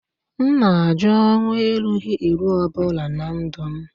M na-ajụ ọnwụ erughị eru ọ bụla na ndụ m